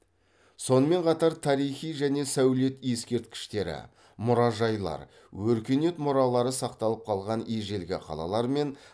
сонымен қатар тарихи және сәулет ескерткіштері мұражайлар өркениет мұралары сақталып қалған ежелгі қалалармен